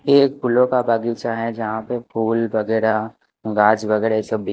ये एक फूलो का बगीचा है जहा पे फुल वगेरा घास वगेरा ये सब बिक--